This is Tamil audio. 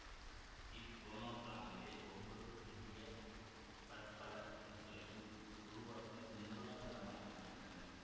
இப் போனோகிராம்களே ஒவ்வொரு புதிய பற்பல சொற்களையும் உருவாக்க மூலாதாரமாய் அமைகின்றன